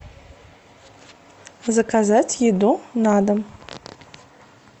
заказать еду на дом